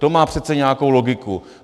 To má přece nějakou logiku.